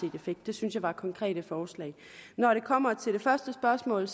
en effekt det synes jeg er konkrete forslag når det kommer til det første spørgsmål